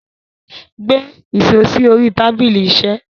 Gbé iṣo sí orí tábílí iṣé.